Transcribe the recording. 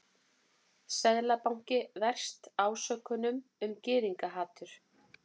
Seðlabanki verst ásökunum um gyðingahatur